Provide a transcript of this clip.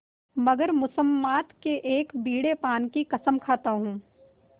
मगर मुसम्मात के एक बीड़े पान की कसम खाता हूँ